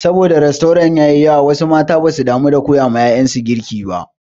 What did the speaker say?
Sabo da rastorant sun yi yawa wasu mata baza su damu da koya wa ƴaƴansu girki ba.